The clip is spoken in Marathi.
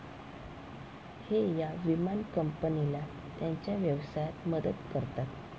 हे या विमान कंपनीला त्यांच्या व्यवसायात मदत करतात.